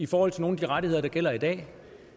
for nogle af de rettigheder der gælder i dag